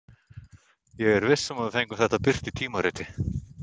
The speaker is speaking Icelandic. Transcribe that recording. Ég er viss um að við fengjum þetta birt í tímariti.